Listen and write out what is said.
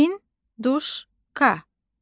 Hinduşka.